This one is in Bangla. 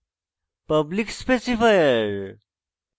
public specifier